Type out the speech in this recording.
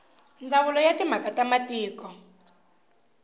ndzawulo ya timhaka ta matiko